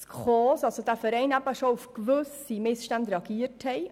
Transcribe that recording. Drittens hat der Verein SKOS bereits auf gewisse Missstände reagiert.